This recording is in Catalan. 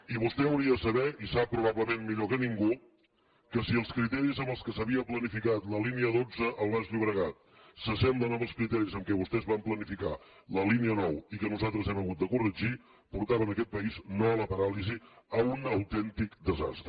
i vostè hauria de saber i sap probablement millor que ningú que si els criteris amb què s’havia planificat la línia dotze al baix llobregat s’assemblen als criteris amb què vostès van planificar la línia nou i que nosaltres hem hagut de corregir portaven aquest país no a la paràlisi a un autèntic desastre